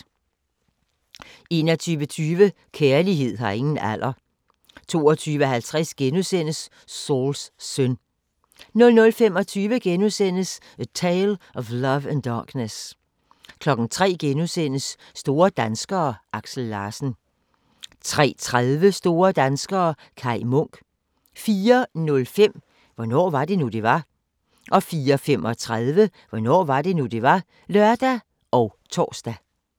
21:20: Kærlighed har ingen alder 22:50: Sauls søn * 00:25: A Tale of Love and Darkness * 03:00: Store danskere: Aksel Larsen * 03:30: Store danskere - Kai Munk 04:05: Hvornår var det nu, det var? 04:35: Hvornår var det nu, det var? (lør og tor)